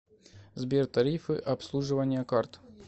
сбер тарифы обслуживания карт